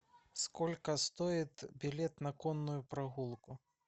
сколько стоит билет на конную прогулку